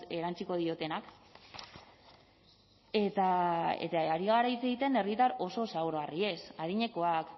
erantsiko diotenak eta ari gara hitz egiten herritar oso zaurgarriez adinekoak